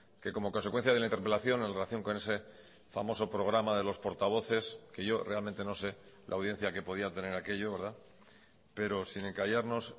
que como consecuencia de la interpelación en relación con ese famoso programa de los portavoces que yo realmente no sé la audiencia que podía tener aquello pero sin encallarnos